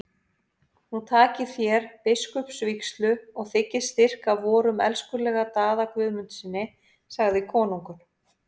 Nú takið þér biskupsvígslu og þiggið styrk af vorum elskulega Daða Guðmundssyni, sagði konungur.